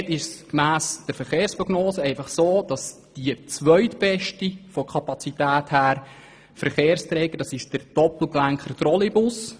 Gemäss den Verkehrsprognosen verhält es sich so, dass der zweitbeste Verkehrsträger bezüglich der Kapazität der Doppelgelenk-Trolleybus ist.